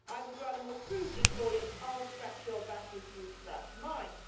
I would rather more crudely call it I will scratch your back if you scratch mine'.